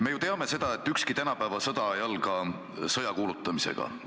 Me ju teame, et ükski tänapäeva sõda ei alga sõja kuulutamisega.